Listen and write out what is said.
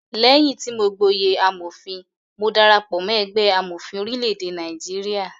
Léyìn tí mọ gboyè amòfin, mo darapọ̀ mọ́ ẹgbẹ́ amọ̀fin orílẹ̀-èdè Nigeria.